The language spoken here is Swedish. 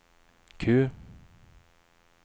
Q